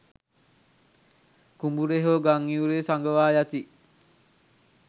කුඹුරේ හෝ ගං ඉවුරේ සඟවා යති